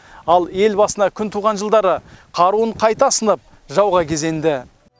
ал ел басына күн туған жылдары қаруын қайта асынып жауға кезенді